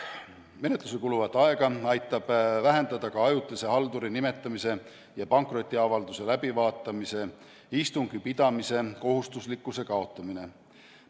Menetlusele kuluvat aega aitab vähendada ka ajutise halduri nimetamise ja pankrotiavalduse läbivaatamise istungi pidamise kohustuslikkuse kaotamine.